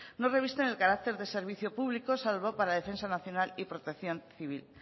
no revisten el carácter de servicio público salvo para defensa nacional y protección civil